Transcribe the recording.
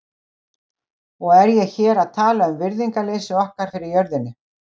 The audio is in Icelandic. Og er ég hér að tala um virðingarleysi okkar fyrir jörðinni.